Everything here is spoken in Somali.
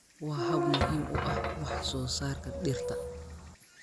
waa hab muhiim u ah wax soo saarka dhirta